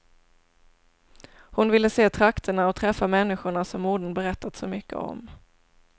Hon vill se trakterna och träffa människorna som modern berättat så mycket om.